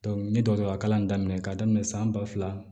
n ye dɔgɔtɔrɔya kalan daminɛ k'a daminɛ san ba fila